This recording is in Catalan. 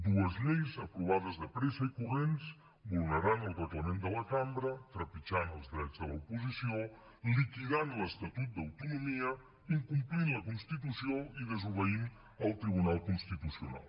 dues lleis aprovades de pressa i corrents vulnerant el reglament de la cambra trepitjant els drets de l’oposició liquidant l’estatut d’autonomia incomplint la constitució i desobeint el tribunal constitucional